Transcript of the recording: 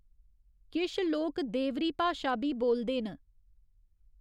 किश लोक देवरी भाशा बी बोलदे न।